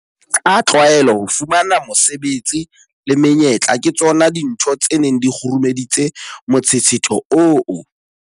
Ka tlwaelo, ho fumana mesebetsi le menyetla ke tsona dintho tse neng di kgurumeditse motshetshetho oo.